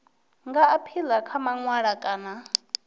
nga aphila kha mawanwa kana